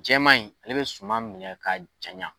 Jɛman in ale bɛ suma minɛ ka jaɲan.